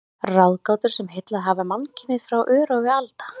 Ráðgátur, sem heillað hafa mannkynið frá örófi alda.